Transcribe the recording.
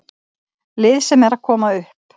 Lið sem er að koma upp.